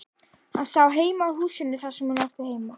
Hann sá heim að húsinu þar sem hún átti heima.